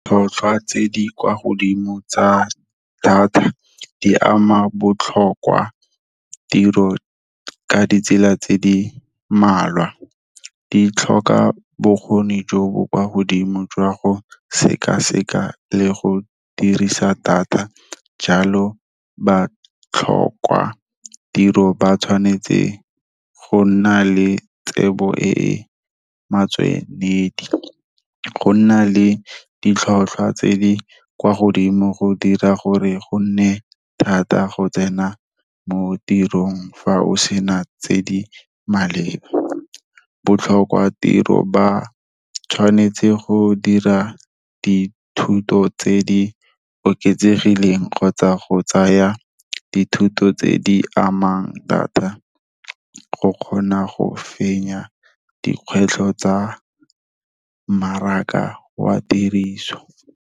Tlhotlhwa tse di kwa godimo tsa data, di ama botlhokwa tiro, ka ditsela tse di mmalwa, di tlhoka bokgoni jo bo kwa godimo jwa go sekaseka le go dirisa data, jalo ba tlhoka tiro ba tshwanetse go nna le tsebo e e metshwanedi. Go nna le ditlhotlhwa tse di kwa godimo go dira gore go nne thata go tsena mo tirong fa o sena tse di maleba. Botlhokwa tiro ba tshwanetse go dira dithuto tse di oketsegileng kgotsa go tsaya dithuto tse di amang data go kgona go fenya dikgwetlho tsa mmaraka wa tiriso.